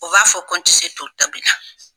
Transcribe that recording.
U b'a fɔ ko n ti se to tobina